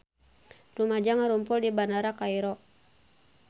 Rumaja ngarumpul di Bandara Kairo